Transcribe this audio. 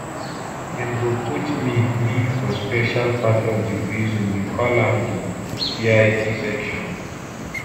dem go put me me for special part of di prison we call am di vip section